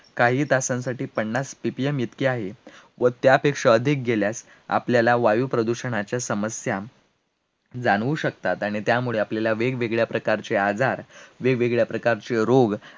काही तासांसाठी पन्नास PPM इतके आहे, व त्यापेक्षा अधिक गेल्यास आपल्याला वायू प्रदूषणाच्या समस्या जाणावू शकतात, आणि त्यामुळे आपल्याला वेगवेगळ्या प्रकारचे आजार, वेगवेगळ्या प्रकारचे रोग